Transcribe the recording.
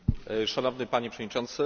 Szanowny Panie Przewodniczący!